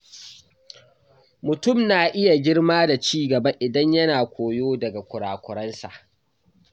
Mutum na iya girma da ci gaba idan yana koyo daga kura-kuransa.